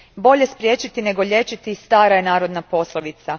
Bolje spriječiti nego liječiti, stara je narodna poslovica.